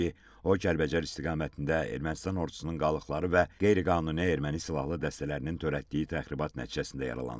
o Kəlbəcər istiqamətində Ermənistan ordusunun qalıqları və qeyri-qanuni erməni silahlı dəstələrinin törətdiyi təxribat nəticəsində yaralanıb.